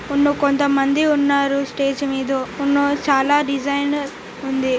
ఉన్నుకొంత మంది ఉన్నారు స్టేజి మీద చాలా డిసైనర్ ఉంది.